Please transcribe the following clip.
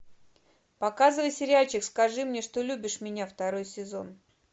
показывай сериальчик скажи мне что любишь меня второй сезон